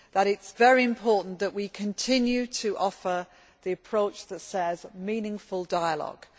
It is very important that we continue to offer the approach that says meaningful dialogue'.